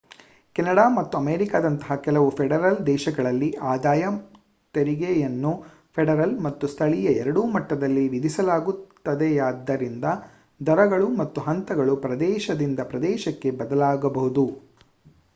Canada ಮತ್ತು ಅಮೇರಿಕಾದಂತಹ ಕೆಲವು ಫೆಡರಲ್ ದೇಶಗಳಲ್ಲಿ ಆದಾಯ ತೆರಿಗೆಯನ್ನು ಫೆಡರಲ್ ಮತ್ತು ಸ್ಥಳೀಯ ಎರಡೂ ಮಟ್ಟದಲ್ಲಿ ವಿಧಿಸಲಾಗುತ್ತದೆಯಾದ್ದರಿಂದ ದರಗಳು ಮತ್ತು ಹಂತಗಳು ಪ್ರದೇಶದಿಂದ ಪ್ರದೇಶಕ್ಕೆ ಬದಲಾಗಬಹುದು